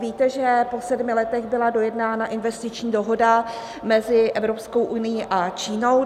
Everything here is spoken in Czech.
Víte, že po sedmi letech byla dojednána investiční dohoda mezi Evropskou unií a Čínou.